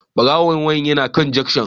Barawon waya yana dukan junction